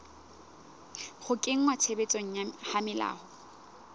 ho kenngwa tshebetsong ha melao